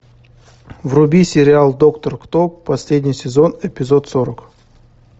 вруби сериал доктор кто последний сезон эпизод сорок